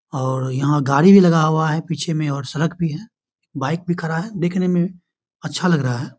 और यहाँ गाड़ी भी लगा हुआ है पीछे में और सड़क भी है। बाइक भी खड़ा है। देखने में अच्छा लग रहा हैं।